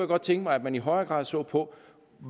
godt tænke mig at man i højere grad så på